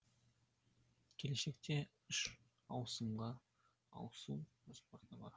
келешекте үш ауысымға ауысу жоспарда бар